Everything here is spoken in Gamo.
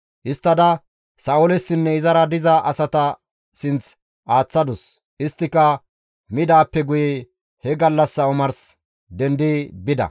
Histtada Sa7oolessinne izara diza asata sinth aaththadus; isttika midaappe guye he gallassa omars dendi bida.